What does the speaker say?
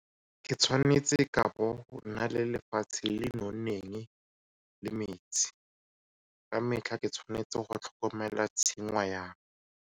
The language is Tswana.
Ke tshwanetse ka bo gona le lefatshe le le nonneng le metsi ka metlha. Ke tshwanetse go tlhokomela tshingwana jang.